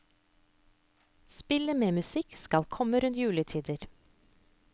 Spillet med musikken skal komme rundt juletider.